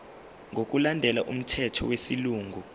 ngokulandela umthetho wesilungu